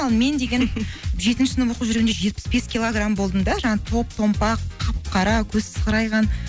ал мен деген жетінші сынып оқып жүргенде жетпіс бес килограм болдым да жаңағы топ томпақ қап қара көзі сығырайған